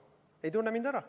Te ei tunne mind ära.